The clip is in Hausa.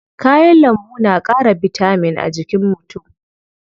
Kayan lambu na ƙara bitamin a jikin mutu.